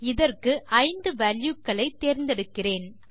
இதற்கு 5 வால்யூ க்களை தேர்ந்தெடுக்கிறேன்